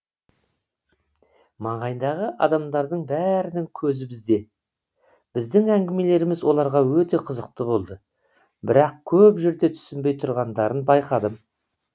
маңайдағы адамдардың бәрінің көзі бізде біздің әңгімелеріміз оларға өте қызықты болды бірақ көп жерде түсінбей тұрғандарын байқадым